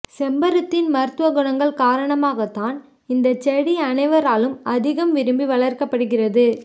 செம்பருத்தியின் மருத்துவ குணங்கள் காரணமாக தான் இந்த செடி அனைவராலும் அதிகம் விரும்பி வளர்க்கப்படுகிறது